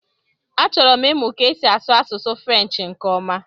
Achọrọ m ịmụ ka esi asụ Asụsụ frenshi nke ọma